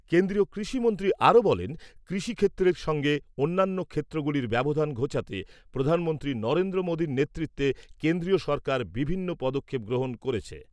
কেন্দ্রীয় কৃষি মন্ত্রী আরো বলেন, কৃষি ক্ষেত্রের সঙ্গে অন্যান্য ক্ষেত্রগুলির ব্যবধান ঘোচাতে প্রধানমন্ত্রী নরেন্দ্র মোদীর নেতৃত্বে কেন্দ্রীয় সরকার বিভিন্ন পদক্ষেপ গ্রহণ করেছে।